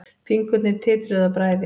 Fingurnir titruðu af bræði.